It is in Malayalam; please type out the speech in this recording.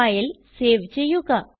ഫയൽ സേവ് ചെയ്യുക